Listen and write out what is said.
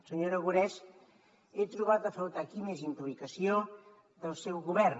senyor aragonès he trobat a faltar aquí més implicació del seu govern